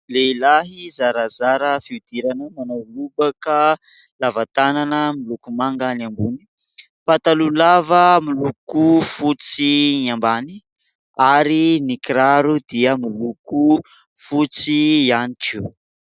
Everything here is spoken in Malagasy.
Lehilahy zarazara fihodirana manao lobaka lava tanana miloko manga ny ambony, pataloha lava miloko fotsy ny ambany ary ny kiraro dia miloko fotsy ihany koa.